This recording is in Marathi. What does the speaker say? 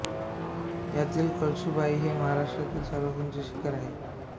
यातील कळसूबाई हे महाराष्ट्रातील सर्वात उंच शिखर आहे